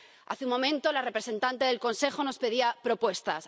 Hace un momento, la representante del Consejo nos pedía propuestas.